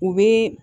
U bɛ